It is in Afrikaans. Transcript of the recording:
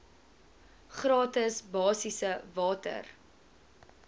gratis basiese water